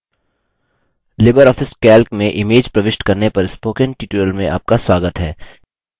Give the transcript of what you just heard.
Libre office calc में images प्रविष्ट करने पर spoken tutorial में आपका स्वागत है